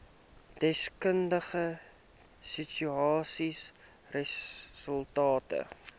deskundige statistiese resultate